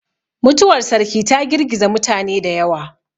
Mutuwar sarki ta girgiza mutane da yawa.